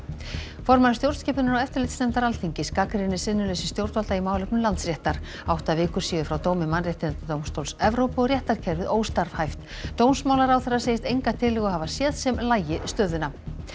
formaður stjórnskipunar og eftirlitsnefndar Alþingis gagnrýnir sinnuleysi stjórnvalda í málefnum Landsréttar átta vikur séu frá dómi mannréttindadómstóls Evrópu og réttarkerfið óstarfhæft dómsmálaráðherra segist enga tillögu hafa séð sem lagi stöðuna